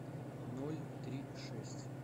ноль три шесть